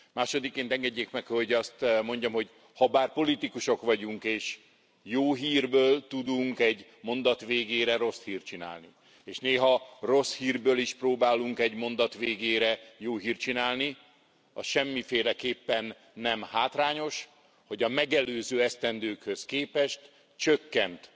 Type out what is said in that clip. Másodikként engedjék meg, hogy azt mondjam, hogy habár politikusok vagyunk és jó hírből tudunk egy mondat végére rossz hírt csinálni, és néha rossz hírből is próbálunk egy mondat végére jó hírt csinálni, az semmiféleképpen nem hátrányos, hogy a megelőző esztendőkhöz képest csökkent